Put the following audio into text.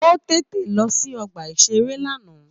Ó tètè lọ sí ọgbà-ìṣeré lánàá